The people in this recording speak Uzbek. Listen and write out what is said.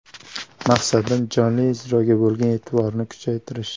Maqsadim jonli ijroga bo‘lgan e’tiborni kuchaytirish.